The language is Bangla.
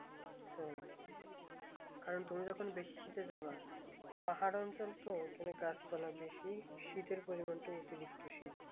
হ্যাঁ কারণ তুমি যখন বেশি শীতে যাবা পাহাড় অঞ্চল তো ওখানে গাছপালা বেশি শীতের পরিমাণ তো অতিরিক্ত শীত